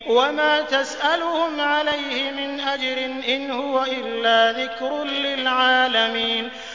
وَمَا تَسْأَلُهُمْ عَلَيْهِ مِنْ أَجْرٍ ۚ إِنْ هُوَ إِلَّا ذِكْرٌ لِّلْعَالَمِينَ